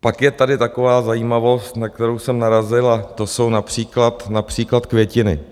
Pak je tady taková zajímavost, na kterou jsem narazil, a to jsou například květiny.